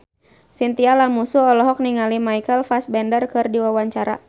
Chintya Lamusu olohok ningali Michael Fassbender keur diwawancara